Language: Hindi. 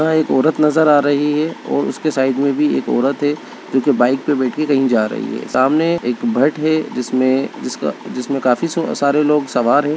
औरत नजर आ रही है और उसके साइड में भी एक औरत है जो कि बाइक पर बैठकर कहीं जा रही है सामने एक भट्ट है जिसमें जिसका जिसमें काफी सो सारे लोग सवार हैं।